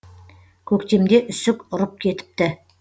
көктемде үсік ұрып кетіпті